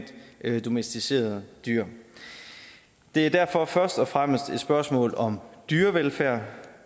domesticerede dyr det er derfor først og fremmest et spørgsmål om dyrevelfærd